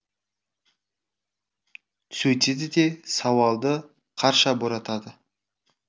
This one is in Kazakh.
сөйтеді де сауалды қарша боратады